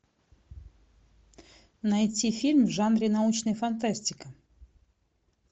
найти фильм в жанре научная фантастика